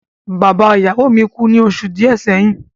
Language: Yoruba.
Bàbá ìyàwó mi kú ní oṣù díẹ̀ sẹ́yìn.